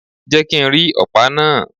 Jẹ́ kí ń rí ọ̀pá náà.!